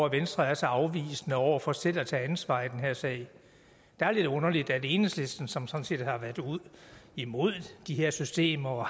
at venstre er så afvisende over for selv at tage ansvar i den her sag det er lidt underligt at enhedslisten som sådan set har været imod de her systemer